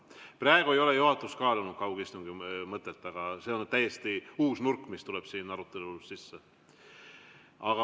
Praegu ei ole juhatus kaalunud kaugistungi mõtet, aga see on täiesti uus nurk, mis tuleb siin arutelul sisse.